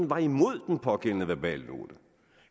var imod den pågældende verbalnote